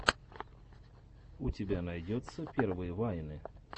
у тебя найдется первые вайны